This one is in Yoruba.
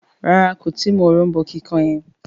ràrá kò tí mú òrombó kíkàn yen.